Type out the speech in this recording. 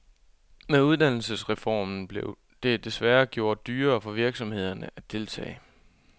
Med uddannelsesreformen blev det desværre gjort dyrere for virksomhederne at deltage.